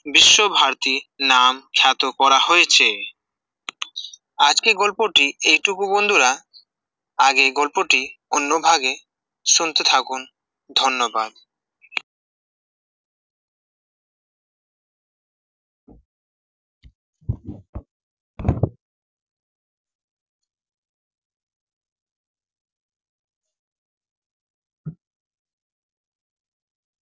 বিশ্বভারতী নাম ছাত করা হয়েছে, আজকের গল্পটি এটুকু বন্ধুরা, আগে গল্পটি অন্যভাগে শুনতে থাকুন, ধন্যবাদ